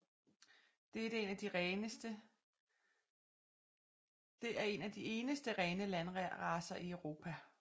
Det er en af de eneste rene landracer i Europa